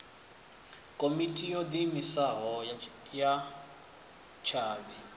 komiti yo diimisaho ya tshavhi